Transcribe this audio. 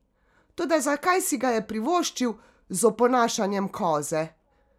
Toda zakaj si ga je privoščil z oponašanjem koze?